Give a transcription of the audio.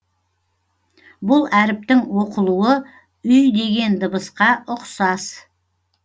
бұл әріптің оқылуы үй деген дыбысқа ұқсас